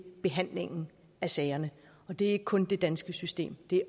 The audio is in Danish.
behandlingen af sagerne og det er ikke kun det danske system det